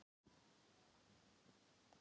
Hann undi sér ágætlega, át og drakk og var glaður.